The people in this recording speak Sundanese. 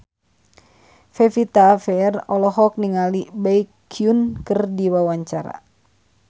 Pevita Pearce olohok ningali Baekhyun keur diwawancara